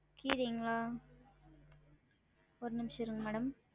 கீரைங்களா? ஒரு நிமுஷம் இருங்க madam